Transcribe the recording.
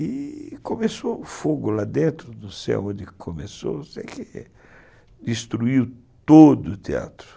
E... começou fogo lá dentro, não sei onde começou, sei que destruiu todo o teatro.